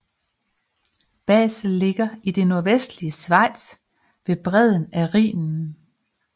Basel ligger i det nordvestlige Schweiz ved bredden af Rhinen